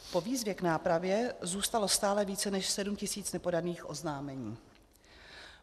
Po výzvě k nápravě zůstalo stále více než 7 tis. nepodaných oznámení.